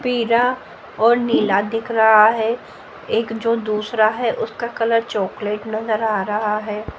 पीरा और नीला दिख रहा है एक जो दूसरा है उसका कलर चॉकलेट नजर आ रहा है।